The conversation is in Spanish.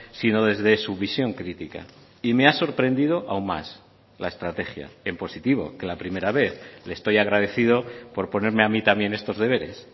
sino desde su visión crítica y me ha sorprendido aún más la estrategia en positivo que la primera vez le estoy agradecido por ponerme a mí también estos deberes